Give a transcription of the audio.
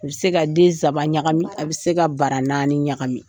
U bɛ se ka densaba ɲagami, a bɛ se ka bara naani ɲagami.